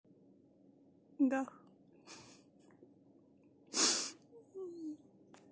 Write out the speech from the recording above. да